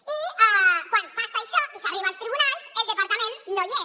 i quan passa això i s’arriba als tribunals el departament no hi és